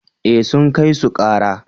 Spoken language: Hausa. eh sun kai su kara